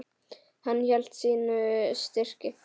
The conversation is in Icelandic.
Hann hélt sínu striki.